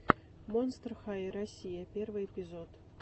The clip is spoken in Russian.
монстр хай россия первый эпизод